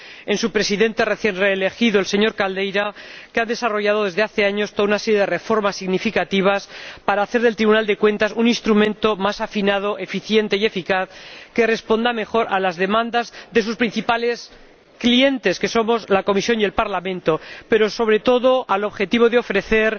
en su Presidente recién reelegido, el señor Caldeira, que ha desarrollado, desde hace años, toda una serie de reformas significativas para hacer del Tribunal de Cuentas un instrumento más afinado, eficiente y eficaz, que responda mejor a las demandas de sus principales clientes, que somos la Comisión y el Parlamento, pero, sobre todo, al objetivo de ofrecer